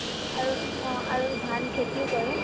আৰু অ আৰু ধান খেতিও কৰে